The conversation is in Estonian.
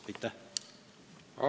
Aitäh!